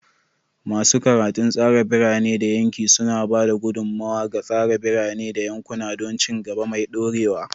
Masu karatun tsara birane da yanki suna ba da gudummawa ga tsara birane da yankuna don ci gaba mai dorewa.